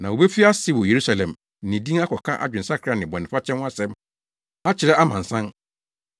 Na wobefi ase wɔ Yerusalem de ne din akɔka adwensakra ne bɔnefakyɛ ho nsɛm akyerɛ amansan.